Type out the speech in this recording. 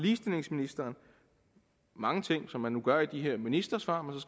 ligestillingsministeren mange ting som man nu gør i de her ministersvar